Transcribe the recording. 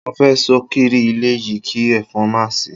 Mo fe sokiri ile yi ki efon ma si